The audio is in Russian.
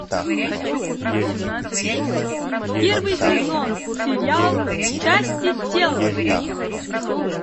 первый сезон сериал части тела